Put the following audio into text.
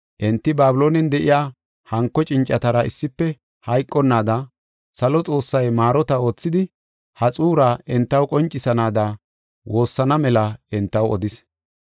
Enti Babiloonen de7iya hanko cincatara issife hayqonnaada, salo Xoossay maarota oothidi, ha xuura entaw qoncisanaada woossana mela entaw odis.